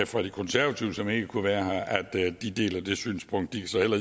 fra de konservative som ikke kunne være her at de deler det synspunkt de kan så heller